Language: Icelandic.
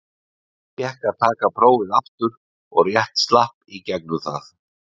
Fékk að taka prófið aftur og rétt slapp í gegnum það.